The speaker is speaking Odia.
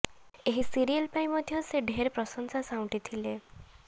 ଏହି ସିରିଏଲ ପାଇଁ ମଧ୍ୟ ସେ ଢେର ପ୍ରଂଶସା ସାଉଣ୍ଟିଥିଲେ